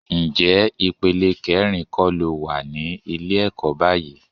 Ǹjẹ́ ìpele kẹrin kọ́ lo wà ní ilé ẹ̀kọ́ báyìí?